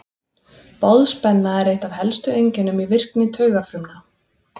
Boðspenna er eitt af helstu einkennum í virkni taugafrumna.